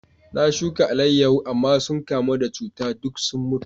Na shuka alayyahu, amma sun kamu da cuta duk suka mutu.